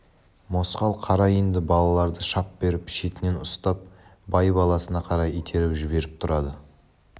мосқал қара енді балаларды шап беріп шетінен ұстап бай баласына қарай итеріп жіберіп тұрады